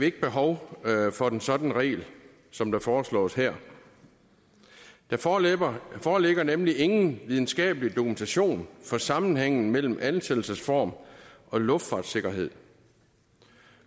ikke behov for en sådan regel som foreslås her der foreligger foreligger nemlig ingen videnskabelig dokumentation for sammenhængen mellem ansættelsesform og luftfartssikkerhed